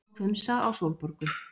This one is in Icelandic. Leit svo hvumsa á Sólborgu.